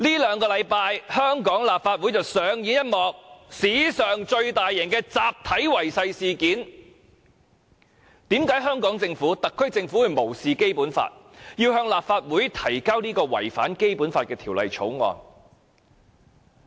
香港立法會在這兩星期上演了一幕史上最大型的集體違誓事件，為何特區政府會無視《基本法》，向立法會提交這項違反《基本法》的《條例草案》？